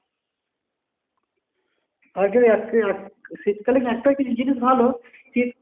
আগে এক এক শীত কালে একটা জিনিস ভালো কি